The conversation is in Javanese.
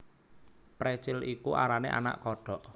Precil iku arane anak kodhok